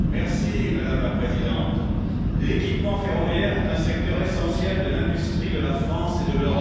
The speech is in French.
Madame la Présidente, l'équipement ferroviaire est un secteur essentiel de l'industrie de la France et de l'Europe.